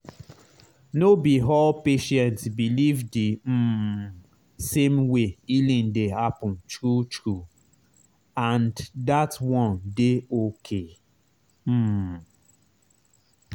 no be all patient believe the um same way healing dey happen true true—and that one dey okay. um